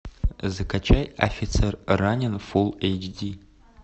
закачай офицер ранен фул эйч ди